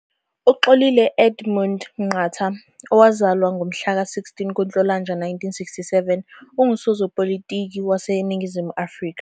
UXolile Edmund Nqatha, owazalwa ngomhlaka 16 kuNhlolanja 1967, ungusopolitiki waseNingizimu Afrika.